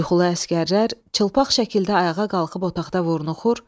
Yuxulu əsgərlər çılpaq şəkildə ayağa qalxıb otaqda vurnuxur.